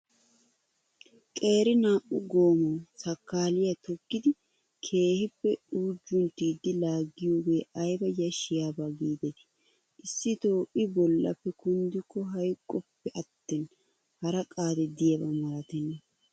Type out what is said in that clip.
Qeeri naa''u goomaawa sayikiliyaa toggidi keehippe uujjunttidi laaggiyooge ayiba yashshiyaaba giideti. Issitoo I bollappe kunddikko hayiqoppe attin hara qaadi diyaaba malatenna.